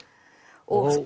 og